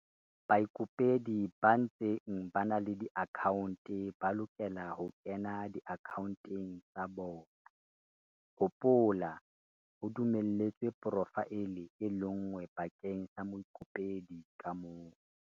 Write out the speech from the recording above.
Baikopedi ba ntseng ba na le diakhaonte ba lokela ho kena diakhaonteng tsa bona - hopola, ho dumelletswe porofaele e le nngwe bakeng sa moikopedi ka mong.